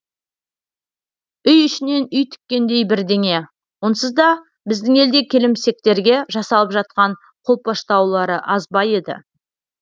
үй ішінен үй тіккендей бірдеңе онсыз да біздің елде келімсектерге жасалып жатқан қолпаштаулары аз ба еді